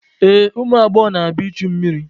Ee, ụmụ agbọghọ na-abịa ichu mmiri.